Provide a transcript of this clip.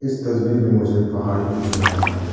इस तस्वीर में मुझे पहाड़ भी दिख रहा है।